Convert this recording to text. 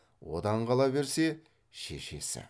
одан қала берсе шешесі